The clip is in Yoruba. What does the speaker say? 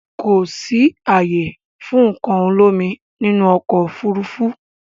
Kò sì ààyè fún nǹkan olómi nínú ọkọ̀ Òfurufú